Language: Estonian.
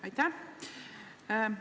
Aitäh!